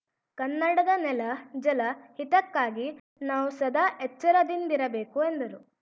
ಕನ್ನಡದ ನೆಲ ಜಲ ಹಿತಕ್ಕಾಗಿ ನಾವು ಸದಾ ಎಚ್ಚರದಿಂದಿರಬೇಕು ಎಂದರು